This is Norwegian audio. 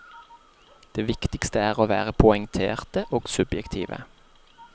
Det viktigste er å være poengterte og subjektive.